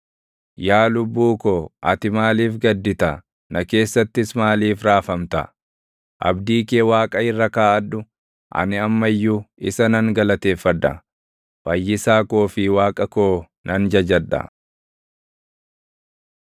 Yaa lubbuu ko, ati maaliif gaddita? Na keessattis maaliif raafamta? Abdii kee Waaqa irra kaaʼadhu; ani amma iyyuu isa nan galateeffadha; Fayyisaa koo fi Waaqa koo nan jajadha.